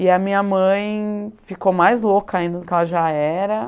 E a minha mãe ficou mais louca ainda do que ela já era.